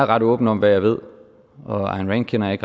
ret åben om hvad jeg ved og ayn rand kender jeg